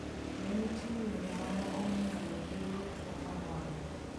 Be ni nitie yore moko minyalo thiedhogo tuwo mar wang?